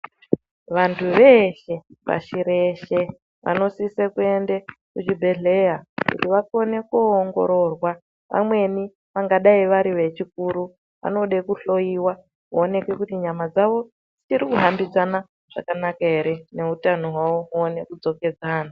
Vantu veshe, pashi reshe vanosise kuyende kuzvibhedhleya kuti vakone koongororwa, vamweni vangadayi vari vechikuru, vanode kuhloyiwa kuwonekwa kuti nyama dzavo, dzichiri kuhambidzana zvakanaka ere neutano hwavo huwone kudzokedzana.